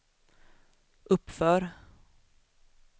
uppför